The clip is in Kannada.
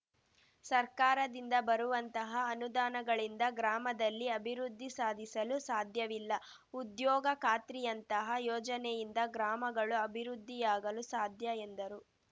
ಸರ್ಕಾರದಿಂದ ಬರುವಂತಹ ಅನುದಾನಗಳಿಂದ ಗ್ರಾಮದಲ್ಲಿ ಅಭಿವೃದ್ಧಿ ಸಾಧಿಸಲು ಸಾಧ್ಯವಿಲ್ಲ ಉದ್ಯೋಗ ಖಾತ್ರಿಯಂತಹ ಯೋಜನೆಯಿಂದ ಗ್ರಾಮಗಳು ಅಭಿವೃದ್ಧಿಯಾಗಲು ಸಾಧ್ಯ ಎಂದರು